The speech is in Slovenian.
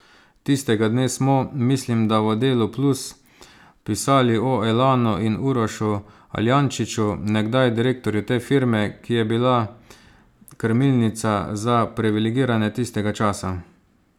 Tistega dne smo, mislim da v Delu plus, pisali o Elanu in Urošu Aljančiču, nekdaj direktorju te firme, ki je bila krmilnica za priviligirane tistega časa.